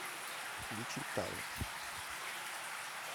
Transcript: включи тарэк